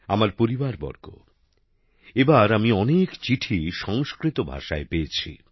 আমার পরিবারবর্গ এবার আমি অনেক চিঠি সংস্কৃত ভাষায় পেয়েছি